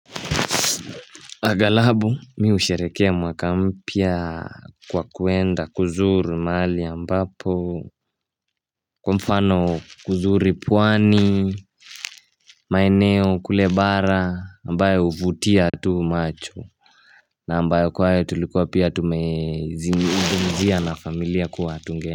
Aghalabu mimi husherehekea mwaka mpya kwa kuenda kuzuru mahali ambapo Kwa mfano kuzuru pwani maeneo kule bara ambayo huvutia tu macho na ambayo kwa hiyo tulikuwa pia tumezizungumzia na familia kuwa tunge.